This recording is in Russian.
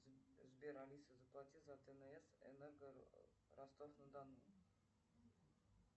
сбер алиса заплати за тнс энерго ростов на дону